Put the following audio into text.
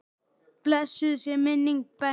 Blessuð sé minning Bensa.